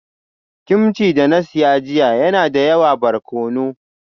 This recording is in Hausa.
Kimchi da na saya jiya yana da yawa barkono